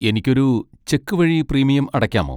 എനിക്ക് ഒരു ചെക്ക് വഴി പ്രീമിയം അടക്കാമോ?